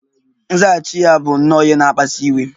Nzaghachi ya bụ nnọọ ihe na-akpasu iwe